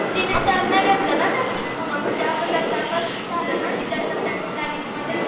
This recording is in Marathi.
तिने नाही घेतला ना त्यादिवशी पूनम म्हणजे असं त्यांचं आता असं झालं ना की त्यांचं त्यांच्या प्लांनिंगमध्ये